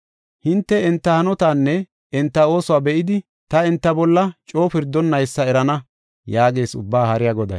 Hinte enta hanotaanne enta oosuwa be7idi, ta enta bolla coo pirdonnaysa erana” yaagees Ubbaa Haariya Goday.